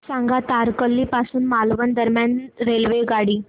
सांगा तारकर्ली पासून मालवण दरम्यान रेल्वेगाडी